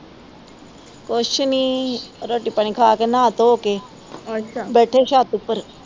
ਕੁਝ ਨੀ ਰੋਟੀ ਪਾਣੀ ਖਾ ਕੇ ਨਹਾ ਥੋ ਕ ਬੈਠੇ ਛੱਤ ਉੱਪਰ